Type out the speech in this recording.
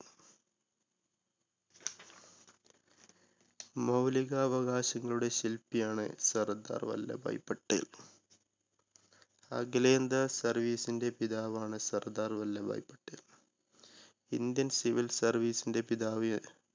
മൗലിക അവകാശങ്ങളുടെ ശില്പിയാണ് സർദാർ വല്ലഭായി പട്ടേൽ. അഖിലേന്ത്യ service ന്റെ പിതാവാണ് Sardar Vallabhbhai Patel. indian civil service ന്റെ പിതാവ്